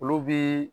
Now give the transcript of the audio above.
Olu bi